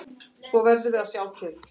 Svo við verðum að sjá til.